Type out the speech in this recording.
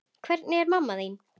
Hvernig er mamma þín?